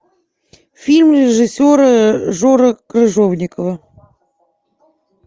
фильм режиссера жоры крыжовникова